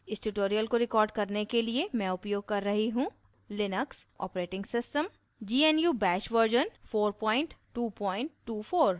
इस tutorial को record करने के लिए मैं उपयोग कर रही हूँ